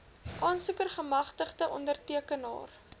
aansoeker gemagtigde ondertekenaar